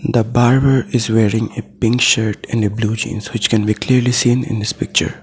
the barber is wearing a pink shirt and a blue jeans which can clearly seen in this picture.